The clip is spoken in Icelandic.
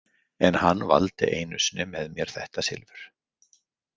En hann valdi einu sinni með mér þetta silfur.